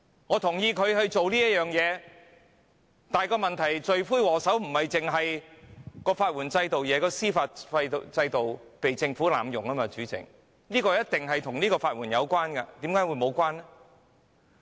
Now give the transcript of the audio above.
我贊同他做這事，但問題是，罪魁禍首不單是法援制度，而是司法制度被政府濫用，主席，這一定與法援有關，為甚麼會沒有關係？